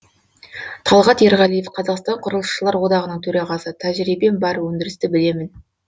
талғат ерғалиев қазақстан құрылысшылар одағының төрағасы тәжірибем бар өндірісті білемін